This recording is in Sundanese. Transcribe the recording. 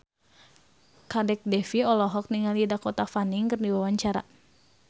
Kadek Devi olohok ningali Dakota Fanning keur diwawancara